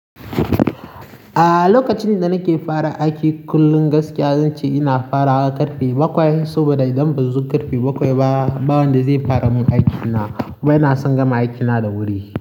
Ah, lokacin da nake fara aiki kullum gaskiya zan ce ina farawa karfe bakwai. Saboda idan bazan zo karfe bakwai ba, ba wanda zai fara mun aiki na. Wai na san gama aiki na da wuri.